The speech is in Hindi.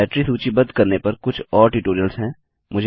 डाइरेक्टरी सूचीबद्ध करने पर कुछ और ट्यूटोरियल्स हैं